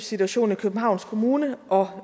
situation i københavns kommune og